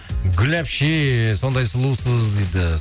гүл әпше сондай сұлусыз дейді